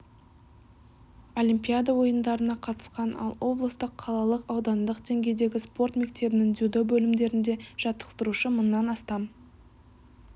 олимпиада ойындарына қатысқан ал облыстық қалалық аудандық деңгейдегі спорт мектебінің дзюдо бөлімдерінде жаттықтырушы мыңнан астам